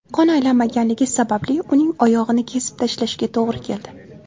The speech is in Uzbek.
Qon aylanmaganligi sababli uning oyog‘ini kesib tashlashga to‘g‘ri keldi.